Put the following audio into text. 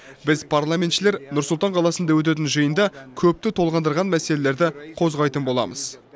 біз парламентшілер нұр сұлтан қаласында өтетін жиында көпті толғандырған мәселелерді қозғайтын боламыз